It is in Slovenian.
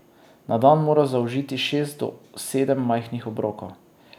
Na dan mora zaužiti šest do sedem majhnih obrokov.